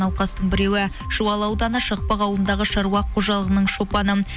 науқастың біреуі жуалы ауданы шақпақ ауылындағы шаруа қожалығының шопаны